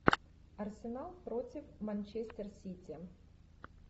арсенал против манчестер сити